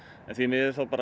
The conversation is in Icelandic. en því miður